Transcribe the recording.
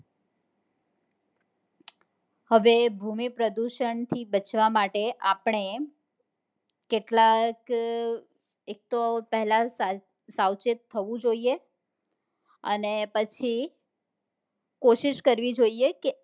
હવે ભૂમિ પ્રદુષણ થી બચવા માટે આપડે કેટલાક એક તો પહેલા સાવચેત થવું જોઈએ અને પછી કોસીસ કરવી જોઈએ કે